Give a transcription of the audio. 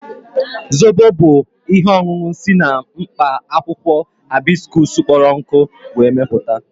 Zobo bu ihe ọṅụṅụ si na mkpa akwụkwọ Haibisikusu kpọrọ nkụ we meputa